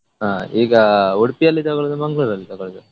ಹಾ ಈಗ Udupi ಅಲ್ಲಿ ತಗೊಳ್ಳುದ Mangalore ಅಲ್ಲಿ ತಗೊಳ್ಳುದ?